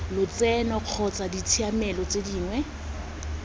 lotseno kana ditshiamelo tse dingwe